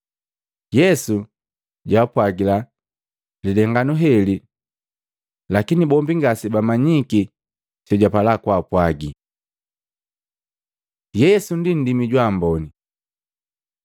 Yesu jwaapwagila lilenganu heli, lakini bombi ngase bamanyiki sejwapala kwaapwagi. Yesu ndi nndimi jwa amboni